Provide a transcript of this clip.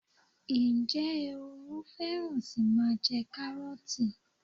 Ǹjẹ́ ehoro fẹ́ràn sí máa jẹ karoti